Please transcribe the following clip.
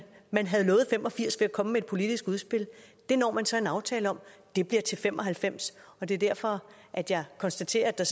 at man havde nået fem og firs ved at komme med et politisk udspil det når man så en aftale om det bliver til fem og halvfems og det er derfor at jeg konstaterer at der